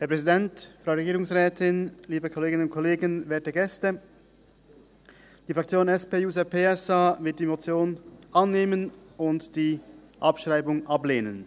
Die SP-JUSO-PSA-Fraktion wird die Motion annehmen und die Abschreibung ablehnen.